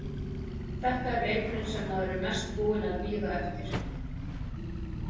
Þetta er leikurinn sem maður er mest búinn að bíða eftir.